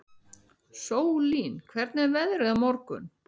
Sólín, hvernig er veðrið á morgun?